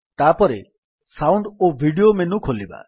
ତାପରେ ସାଉଣ୍ଡ ଓ video menu ଖୋଲିବା